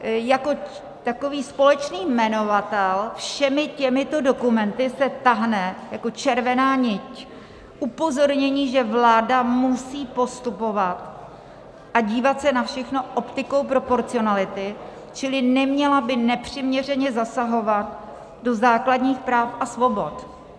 Jako takový společný jmenovatel všemi těmito dokumenty se táhne jako červená nit upozornění, že vláda musí postupovat a dívat se na všechno optikou proporcionality, čili neměla by nepřiměřeně zasahovat do základních práv a svobod.